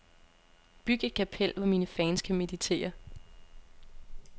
Byg et kapel, hvor mine fans kan meditere.